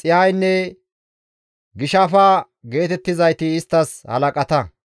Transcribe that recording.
Xihaynne Gishafa geetettizayti isttas halaqata.